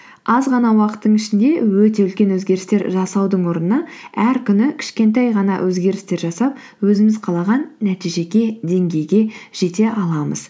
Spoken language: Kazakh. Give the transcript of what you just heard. аз ғана уақыттың ішінде өте үлкен өзгерістер жасаудың орнына әр күні кішкентай ғана өзгерістер жасап өзіміз қалаған нәтижеге деңгейге жете аламыз